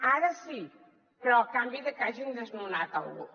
ara sí però a canvi de que hagin desnonat algú